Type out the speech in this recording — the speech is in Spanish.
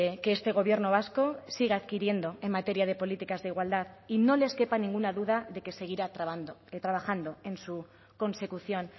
que este gobierno vasco sigue adquiriendo en materia de políticas de igualdad y no les quepa ninguna duda de que seguirá trabajando en su consecución